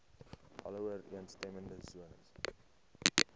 alle ooreenstemmende sones